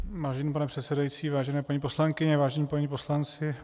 Vážený pane předsedající, vážené paní poslankyně, vážení páni poslanci.